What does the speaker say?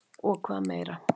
Og hvað meira?